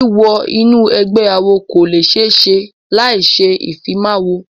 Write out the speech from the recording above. Wíwo inú ẹgbẹ́ awo kò le ṣe é ṣe láì ṣe ìfimawo.